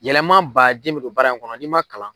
Yɛlɛma baden bɛ don baara in kɔnɔ n'i man kalan.